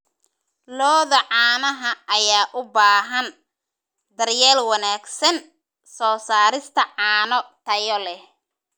Lo'da caanaha ayaa u baahan daryeel wanaagsan soo saarista caano tayo leh.